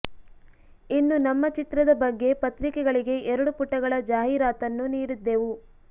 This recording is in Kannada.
ಇನ್ನು ನಮ್ಮ ಚಿತ್ರದ ಬಗ್ಗೆ ಪತ್ರಿಕೆಗಳಿಗೆ ಎರಡು ಪುಟಗಳ ಜಾಹೀರಾತನ್ನೂ ನೀಡಿದ್ದೆವು